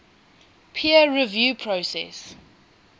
peer review process